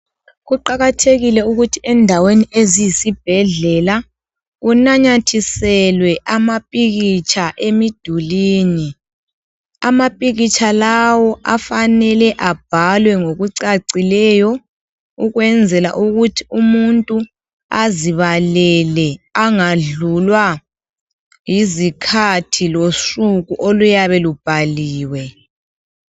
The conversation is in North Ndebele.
Kuqakathekile ukuthi endaweni eziyisi bhedlela kunanyathiselwe amapikitsha emidulwini ,amapikitsha lawo afanele abhalwe ngokucacileyo ukwenzela ukuthi umuntu azibalele angadlulwa yizikhathi losuku oluyabe lubhaliwe.